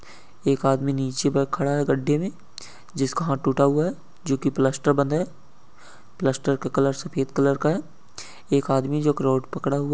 एक आदमी नीचे पे खड़ा है गड्डे में जिसका हात टूटा हुआ है जोकी प्लास्टर बंद है प्लास्टर का कलर सफेद कलर का है एक आदमी जो की रोड पकड़ा हुआ --